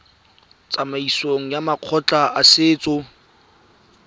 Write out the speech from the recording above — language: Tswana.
tsamaisong ya makgotla a setso